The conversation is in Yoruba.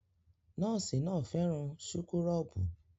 Nọ́ọ̀sì náà fẹ́ràn súkúrọ́bù